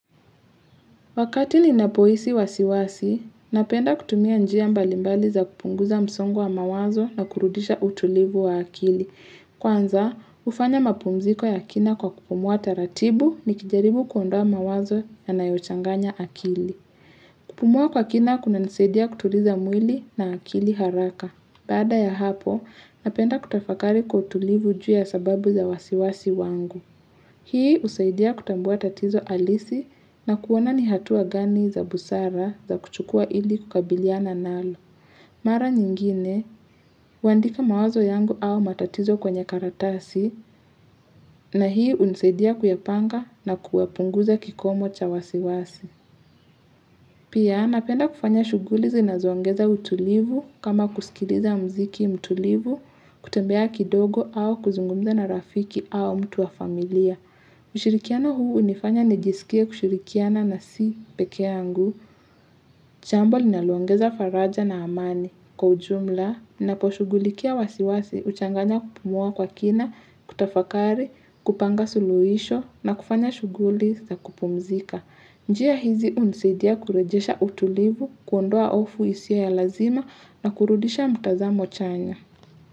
Wakati ni napohisi wasiwasi, napenda kutumia njia mbalimbali za kupunguza msongo wa mawazo na kurudisha utulivu wa akili. Kwanza, ufanya mapumziko ya kina kwa kupumua taratibu nikijaribu kuondoa mawazo ya nayochanganya akili. Kupumua kwa kina kuna nisaidia kutuliza mwili na akili haraka. Baada ya hapo, napenda kutafakari kwa utulivu juu ya sababu za wasiwasi wangu. Hii husaidia kutambua tatizo halisi na kuona ni hatua gani za busara za kuchukua ili kukabiliana nalo. Mara nyingine, huandika mawazo yangu au matatizo kwenye karatasi na hii unisaidia kuyapanga na kuyapunguza kikomo cha wasiwasi. Pia napenda kufanya shuguli zinazoongeza utulivu kama kusikiliza muziki mtulivu, kutembea kidogo au kuzungumza na rafiki au mtu wa familia. Ushirikiano huu unifanya nijisikia kushirikiana na si peke yangu. Jambo linaloongeza faraja na amani. Kwa ujumla, ninaposhughulikia wasiwasi uchanganya kupumua kwa kina, kutafakari, kupanga suluhisho na kufanya shughuli za kupumzika. Njia hizi unisidia kurejesha utulivu, kuondoa hofu isiyo ya lazima na kurudisha mtazamo chanya.